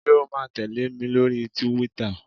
Ṣé o ma tẹ̀lé mi lórí túwítà?